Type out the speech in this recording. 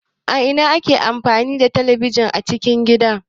A ina ake ajiye talabijin a cikin gida?